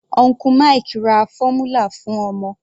Uncle Mike ra fọ́múlà fún ọmọ.